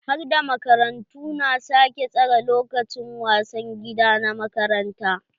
Harda makarantu na sake tsere lokacin wasan gida na makaranta.